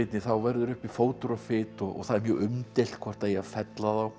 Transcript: þá verður uppi fótur og fit og það er mjög umdeilt hvort það eigi að fella þá